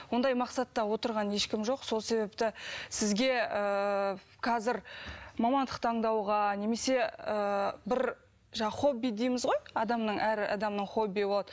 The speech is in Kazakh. ондай мақсатта отырған ешкім жоқ сол себепті сізге ыыы қазір мамандық таңдауға немесе ыыы бір жаңағы хобби дейміз ғой адамның әр адамның хоббиі болады